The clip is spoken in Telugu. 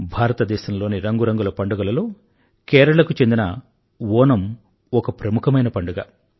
భారతదేశంలోని రంగురంగుల పండుగలలో కేరళకు చెందిన ఓనమ్ ఒక ప్రముఖమైన పండుగ